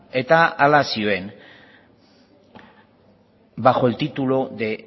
eta hala zioen bajo el título de